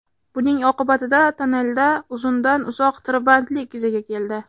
Buning oqibatida tonnelda uzundan-uzoq tirbandlik yuzaga keldi.